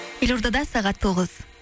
елордада сағат тоғыз